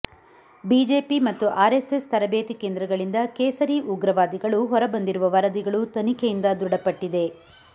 BJP ಮತ್ತು RSS ತರಬೇತಿ ಕೇಂದ್ರಗಳಿಂದ ಕೇಸರಿ ಉಗ್ರವಾದಿಗಳು ಹೊರ ಬಂದಿರುವ ವರದಿಗಳು ತನಿಖೆಯಿಂದ ದೃಡಪಟ್ಟಿದೆ